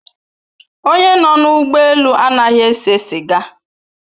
Onye nọ na ụgbọ elu anaghị ese siga